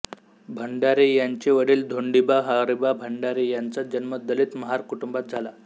भंडारे यांचे वडील धोंडिबा हरीबा भंडारे यांचा जन्म दलित महार कुटुंबात झाला